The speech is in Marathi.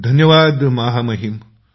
धन्यवाद महामहिम